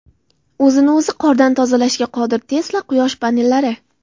O‘zini o‘zi qordan tozalashga qodir Tesla quyosh panellari.